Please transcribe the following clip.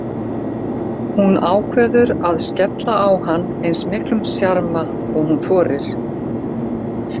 Hún ákveður að skella á hann eins miklum sjarma og hún þorir.